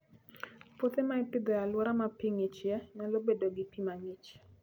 Puothe ma ipidho e alwora ma pi ng'ichie, nyalo bedo gi pi mang'ich.